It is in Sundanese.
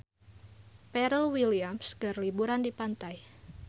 Pharrell Williams keur liburan di pantai